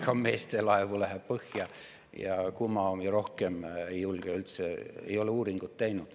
Ka meeste laevu läheb põhja, aga kumma omi rohkem, ei julge, ei ole uuringut teinud.